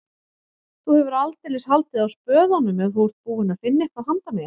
Þú hefur aldeilis haldið á spöðunum ef þú ert búinn að finna eitthvað handa mér